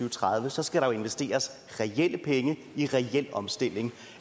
og tredive så skal der jo investeres reelle penge i reel omstilling